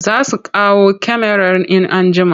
Za su kawo kyamarar in an jima.